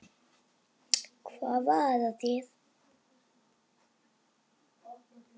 Hvað var að þér?